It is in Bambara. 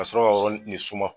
Ka sɔrɔ ka yɔrɔnin suma.